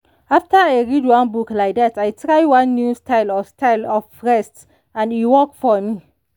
after i read one book like that i try one new style of style of rest and e work for me.